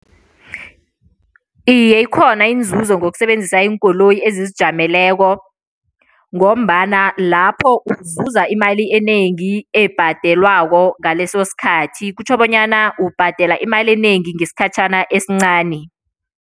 Iye, ikhona inzuzo ngokusebenzisa iinkoloyi ezizijameleko ngombana lapho uzuza imali enengi ebhadelwako ngaleso sikhathi, kutjho bonyana ubhadela imali enengi ngesikhatjhana esincani.